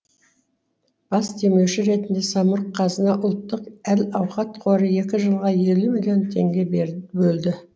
бас демеуші ретінде самрұқ қазына ұлттық әл ауқат қоры екі жылға елу миллион теңге бөлді